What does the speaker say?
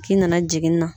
K'i nana jigin na